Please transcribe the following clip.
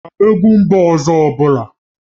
Ị maara egwu mba ọzọ ọ bụla?